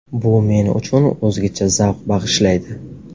Bu men uchun o‘zgacha zavq bag‘ishlaydi.